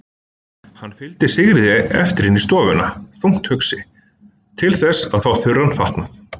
Hann fylgdi Sigríði eftir inn í stofuna, þungt hugsi, til þess að fá þurran fatnað.